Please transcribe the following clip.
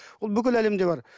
ол бүкіл әлемде бар